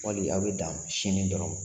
Wali a bɛ dan sɛni dɔrɔn ma?